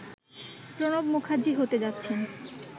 প্রণব মুখার্জি হতে যাচ্ছেন